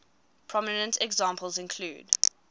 prominent examples include